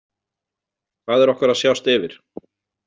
Hvað er okkur að sjást yfir?